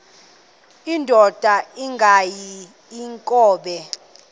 indod ingaty iinkobe